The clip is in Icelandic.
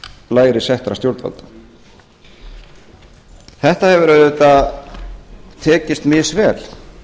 lægra settra stjórnvalda þetta hefur auðvitað tekist misvel